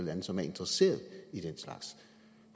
lande som er interesserede i den slags